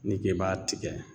N'i k'i b'a tigɛ